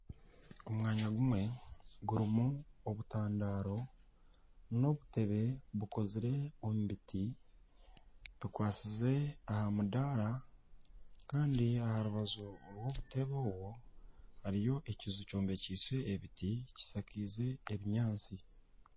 Omwanya gumwe gurimu obutandaaro na obutebe bukozirwe omu biti bukwatsize aha mudaara Kandi aha rubaju rw'obutebe obu hariyo ekiju kyombekiise ebiti kyishakaize ebinyaatsi.